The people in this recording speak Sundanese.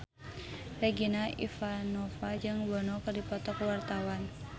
Regina Ivanova jeung Bono keur dipoto ku wartawan